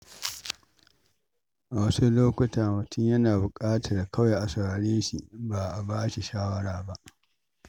A wasu lokuta, mutum yana buƙatar kawai a saurare shi ba a ba shi shawara ba.